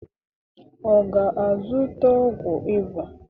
Ọ ga-azụta ọgwụ ịba?